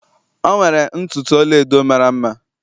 o nwere ntutu ọla-edo mara mma.